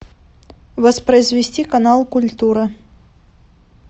воспроизвести канал культура